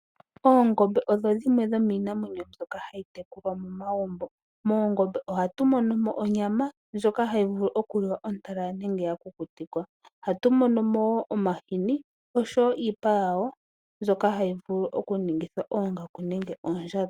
Oongombe odho dhimwe dhomiinamwenyo mbyoka hayi tekulwa momagumbo . Moongombe ohatu monomo onyama ndjoka hatu vulu okulya momagumbo ontalala nenge ya kukutikwa. Ohatu monomo woo omahini oshowo iipa yawo mbyoka hayi vulu oku ningithwa oongaku nenge oondjato.